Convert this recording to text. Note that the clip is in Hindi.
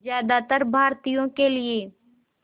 ज़्यादातर भारतीयों के लिए